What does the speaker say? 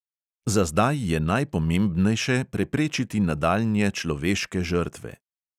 Za zdaj je najpomembnejše preprečiti nadaljnje človeške žrtve.